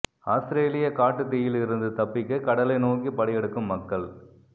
ஆஸ்திரேலிய காட்டுத் தீயில் இருந்து தப்பிக்க கடலை நோக்கி படையெடுக்கும் மக்கள்